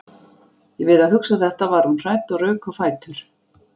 Við að hugsa þetta varð hún hrædd og rauk á fætur.